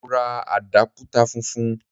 Mo ra àdápútà funfun.